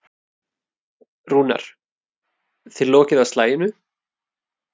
Rúnar: Þið lokið á slaginu?